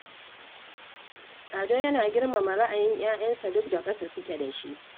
Ado yana girmama ra'ayin 'ya'yansa duk da ƙasa suke da shi